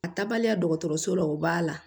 A taabaliya dɔgɔtɔrɔso la o b'a la